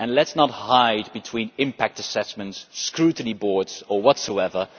Let us not hide between impact assessments, scrutiny boards or whatever.